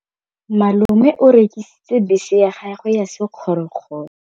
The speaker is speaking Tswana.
Malome o rekisitse bese ya gagwe ya sekgorokgoro.